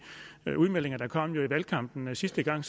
udmeldinger der jo kom i valgkampen sidste gang